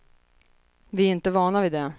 Vi är inte vana vid det.